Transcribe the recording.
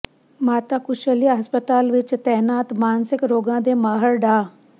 ਮਾਤਾ ਕੁਸ਼ਲਿਆ ਹਸਪਤਾਲ ਵਿਚ ਤਾਇਨਾਤ ਮਾਨਸਿਕ ਰੋਗਾਂ ਦੇ ਮਾਹਰ ਡਾ